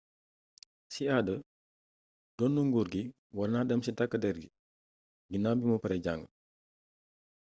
si aada donnu nguur gi warna dem si tak der ginaw bi mu pare jang